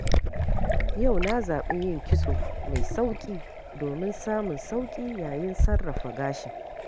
Yau na zaɓi yin kitso mai sauƙi domin samun sauƙi yayin sarrafa gashin.